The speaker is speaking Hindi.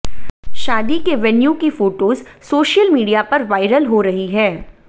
शादी के वेन्यू की फोटोज सोशल मीडिया पर वायरल हो रही है